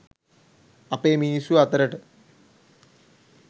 අපේ මිනිස්සු අතරට.